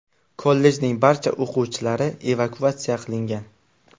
Kollejning barcha o‘quvchilari evakuatsiya qilingan.